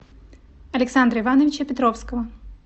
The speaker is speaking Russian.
александра ивановича петровского